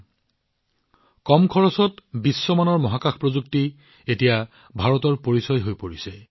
মহাকাশ প্ৰযুক্তিৰ ক্ষেত্ৰত কম খৰচত বিশ্বমানৰ মানদণ্ড এতিয়া ভাৰতৰ বিশেষত্ব হৈ পৰিছে